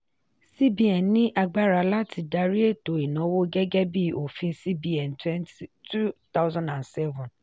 cbn ní agbára láti dárí ètò ìnáwó gẹ́gẹ́ bí òfin cbn two thousand and seven